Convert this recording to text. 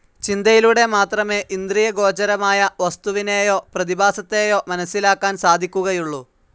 ചിന്തയിലൂടെ മാത്രമേ ഇന്ദ്രിയഗോചരമായ വസ്തുവിനേയോ പ്രതിഭാസത്തേയോ മനസ്സിലാക്കാൻ സാധിക്കുകയുള്ളൂ.